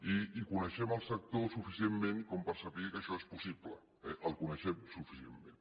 i coneixem el sector suficientment com per saber que això és possible el coneixem suficientment